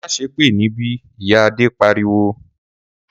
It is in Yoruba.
Má sépè níbí!', Ìyá Ade pariwo